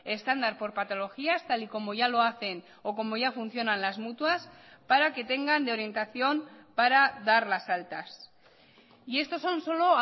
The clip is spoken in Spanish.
estándar por patologías tal y como ya lo hacen o como ya funcionan las mutuas para que tengan de orientación para dar las altas y estos son solo